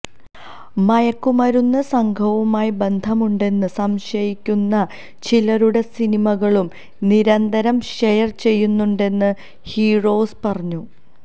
മയക്കുമരുന്നു സംഘവുമായി ബന്ധമുണ്ടെന്ന് സംശയയിക്കുന്ന ചിലരുടെ സിനിമകളും നിരന്തരം ഷെയര് ചെയ്യുന്നുണ്ടെന്നും ഫിറോസ് പറഞ്ഞു